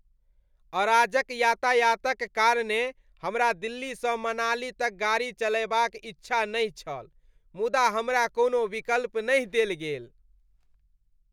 अराजक यातायातक कारणेँ हमरा दिल्लीसँ मनाली तक गाड़ी चलयबाक इच्छा नहि छल, मुदा हमरा कोनो विकल्प नहि देल गेल।